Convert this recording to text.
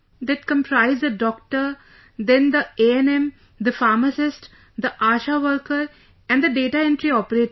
That comprised a doctor, then the ANM, the pharmacist, the ASHA worker and the data entry operator